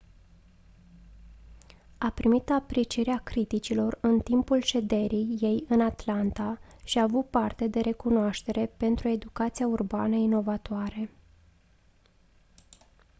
a primit aprecierea criticilor în timpul șederii ei în atlanta și a avut parte de recunoaștere pentru educația urbană inovatoare